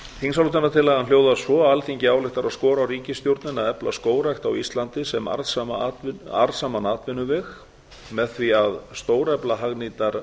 þingsályktunartillagan hljóðar svo alþingi ályktar að skora á ríkisstjórnina að efla skógrækt á íslandi sem arðsaman atvinnuveg með því að a stórefla hagnýtar